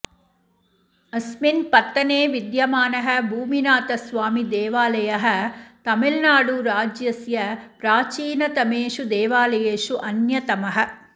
अस्मिन् पत्तने विद्यमानः भूमिनाथस्वामिदेवालयः तमिऴ्नाडुराज्यस्य प्राचीनतमेषु देवालयेषु अन्यतमः